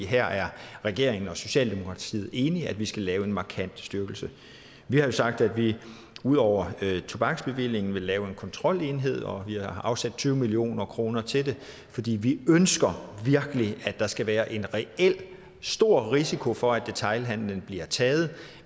her er regeringen og socialdemokratiet enige i at vi skal lave en markant styrkelse vi har jo sagt at vi ud over tobaksbevillingen vil lave en kontrolenhed og vi har afsat tyve million kroner til det fordi vi ønsker at der skal være en reel stor risiko for at detailhandelen bliver taget